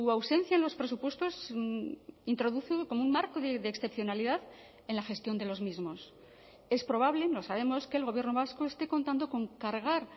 ausencia en los presupuestos introduce como un marco de excepcionalidad en la gestión de los mismos es probable no sabemos que el gobierno vasco esté contando con cargar